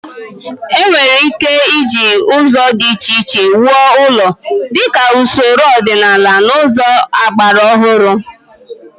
E nwere ike iji ụzọ dị iche iche wuo ụlọ, dịka usoro ọdịnaala na ụzọ agbara ọhụrụ.